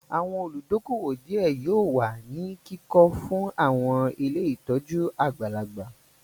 Àwọn olùdókóówò díẹ̀ yóò wà ní kíkọ fún àwọn ilé ìtọ́jú àgbàlagbà